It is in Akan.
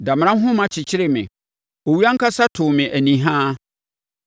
Damena nhoma kyekyeree me; owuo ankasa too me anihaa.